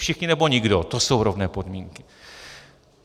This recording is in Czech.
Všichni, nebo nikdo, to jsou rovné podmínky.